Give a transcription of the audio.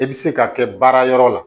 I bɛ se ka kɛ baara yɔrɔ la